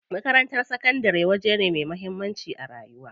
Makarantar sakandari waje ne me muhammanci a rayuwa.